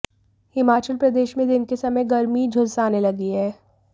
हिमाचल प्रदेश में दिन के समय गर्मी झुलसाने लगी है